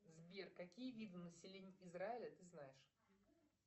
сбер какие виды населения израиля ты знаешь